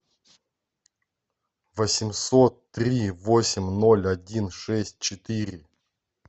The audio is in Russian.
восемьсот три восемь ноль один шесть четыре